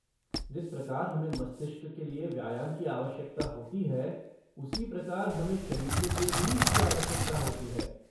जिस प्रकार हमें मस्तिष्क के लिए व्यायाम की आवश्यकता होती है, उसी प्रकार हमें शरीर के लिए भी इसकी आवश्यकता होती है।